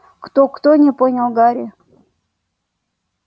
кто-кто не понял гарри